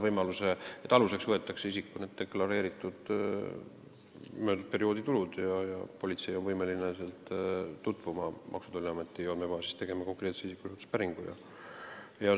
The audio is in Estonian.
Aluseks võetakse isiku deklareeritud möödunud perioodi tulud, politsei on võimeline Maksu- ja Tolliameti andmebaasis tegema konkreetse isiku kohta päringu.